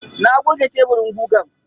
Na goge teburin gugan.